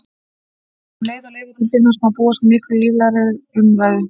Um leið og leifarnar finnast má því búast við miklu líflegri umræðum.